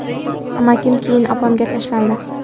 Amakim keyin opamga tashlandi.